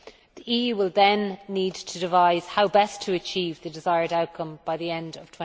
The EU will then need to devise how best to achieve the desired outcome by the end of